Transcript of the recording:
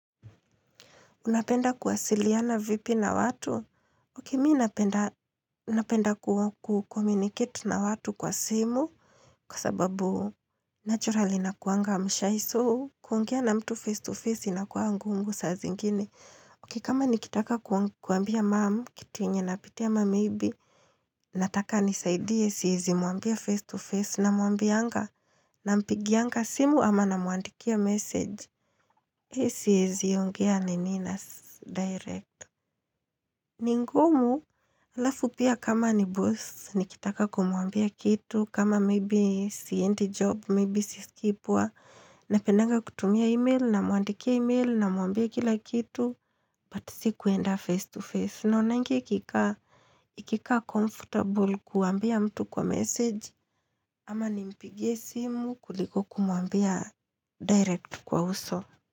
Unapenda kuwasiliana vipi na watu? Ok, mii napenda kuwa kukomunikitu na watu kwa simu kwa sababu naturali nakuanga mshy so. Kuongea na mtu face to face inakuwa ngumu saa zingini. Ok, kama nikitaka kuambia mam, kitu yenye napitia ama maybe, nataka anisaidie siwezi mwambia face to face namuambianga nampigianga simu ama namuandikia message. Hei siwezi ongea nini na direct. Ni ngumu, halafu pia kama ni boss, nikitaka kumwambia kitu, kama maybe siendi job, maybe si siskii poa. Napendanga kutumia email, namwandikia email, namwambia kila kitu, but si kuenda face to face. Naonanga ikikaa, ikikaa comfortable kuambia mtu kwa message, ama nimpigie simu kuliko kumwambia direct kwa uso.